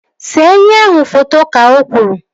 See enyi ahụ foto! Ka o kwuru